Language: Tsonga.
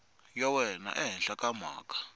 ya wena ehenhla ka mhaka